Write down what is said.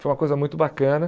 Foi uma coisa muito bacana.